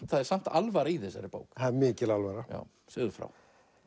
það er samt alvara í þessari bók það er mikil alvara segðu frá